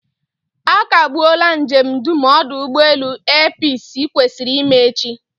A kagbuola njem dum ọdụ ụgbọelu air peace kwesịrị ime echi